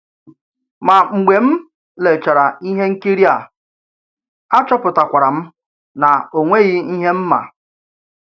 Mà, mg̀bè m lèrchàrà ìhè ǹkìrì à, achọ̀pùtàkwàrà m nà ò nweghì ihé m mà.